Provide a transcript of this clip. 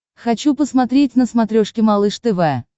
хочу посмотреть на смотрешке малыш тв